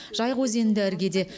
жайық өзені де іргеде